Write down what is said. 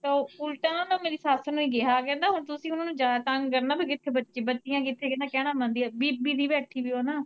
ਤੇ ਓਲਟਾ ਓਨਾਂ ਨੇ ਮੇਰੀ ਸੱਸ ਨੂੰ ਹੀ ਕਿਹਾ, ਕਹਿੰਦਾ ਹੁਣ ਤੁਸੀਂ ਓਨਾਂ ਨੂੰ ਜਿਆਦਾ ਤੰਗ ਕਰਨਾ, ਤੂੰ ਕਿੱਥੇ ਬੱਚੀ, ਬੱਚੀਆ ਕਿੱਥੇ ਕਹਿੰਦਾ ਕਹਿਣਾ ਮੰਨਦੀਆ, ਬੀਬੀ ਸੀ ਬੈਠੀ ਉਹ ਨਾ।